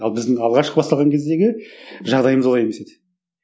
ал біздің алғашқы бастаған кездегі жағдайымыз олай емес еді